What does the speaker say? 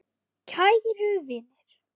Kæru vinir!